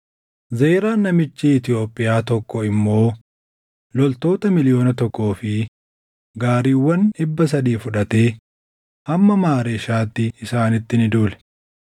Zeraan namichi Itoophiyaa tokko immoo loltoota miliyoona tokkoo fi gaariiwwan dhibba sadii fudhatee hamma Maareeshaatti isaanitti ni duule.